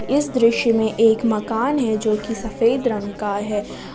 इस दृश्य में एक मकान है जो कि सफेद रंग का है।